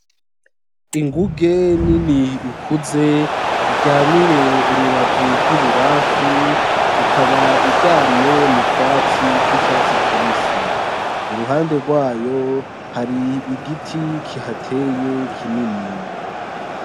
Inguge nini ikuze iryamiye urubavu rw’ibubamfu ikaba iryamye m’utwatsi tw’icatsi kibisi. Iruhande gwayo hari igiti kihateye kinini.